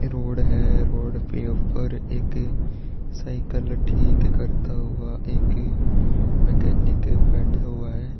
Road है road के ऊपर एक साइकिल ठीक करता हुआ एक मैकेनिक बैठा हुआ है।